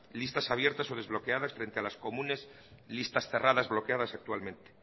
listas abiertas o desbloquearlas frente a las comunes listas cerradas bloqueadas actualmente